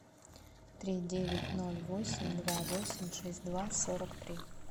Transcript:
три девять ноль восемь два восемь шесть два сорок три